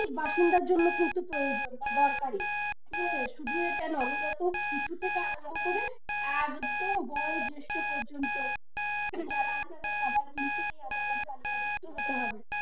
বাসিন্দার জন্য কিন্তু প্রয়োজন বা দরকারি ঠিক আছে নবাগত শিশু থেকে আরম্ভ করে একদম বয়স জ্যেষ্ঠ পর্যন্ত, যারা আছে তাদের সবারই কিন্তু তালিকা ভুক্ত হতে হবে।